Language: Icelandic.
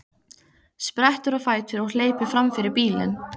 Sprettur á fætur og hleypur fram fyrir bílinn.